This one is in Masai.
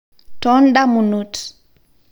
tondamunot